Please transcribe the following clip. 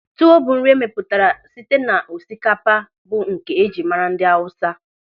Tuwo bụ nri e mepụtara site n'osikapa bụ nke e jiri mara ndị Awụsa.